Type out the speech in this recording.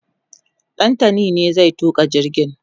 Ɗantani ne zai tuka jirgin